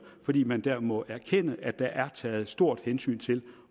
fordi man her må erkende at der er taget et stort hensyn til